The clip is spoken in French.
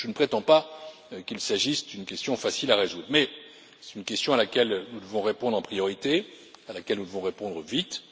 Je ne prétends pas qu'il s'agisse d'une question facile à résoudre, mais c'est une question à laquelle nous devons répondre en priorité et à laquelle nous devons répondre vite.